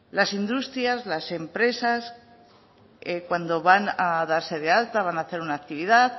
las industrias las empresas cuando van a darse de alta van a hacer una actividad